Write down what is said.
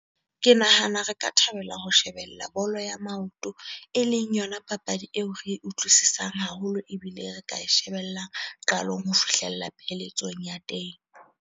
Ke nahana re ka thabela ho shebella bolo ya maoto, eleng yona papadi eo re e utlwisisang haholo ebile re ka e shebellang qalong ho fihlela pheletsong ya teng.